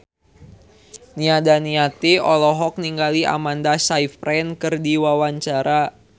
Nia Daniati olohok ningali Amanda Sayfried keur diwawancara